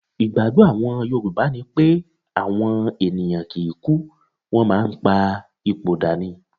Ìgbágbọ́ àwọn yorùbá ni pé àwọn ènìyàn kì í kú, wọ́n máa ń pa ipò dà ni.